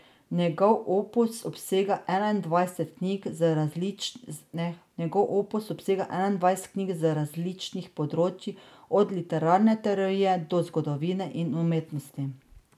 Njegov opus obsega enaindvajset knjig z različnih področij, od literarne teorije do zgodovine in umetnosti.